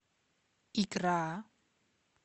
икра